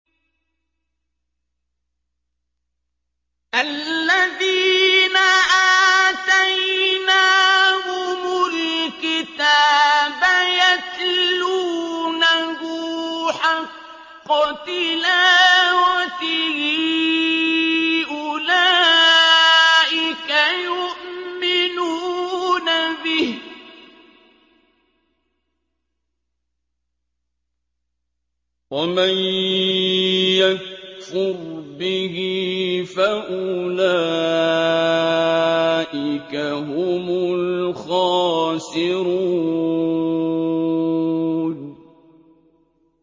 الَّذِينَ آتَيْنَاهُمُ الْكِتَابَ يَتْلُونَهُ حَقَّ تِلَاوَتِهِ أُولَٰئِكَ يُؤْمِنُونَ بِهِ ۗ وَمَن يَكْفُرْ بِهِ فَأُولَٰئِكَ هُمُ الْخَاسِرُونَ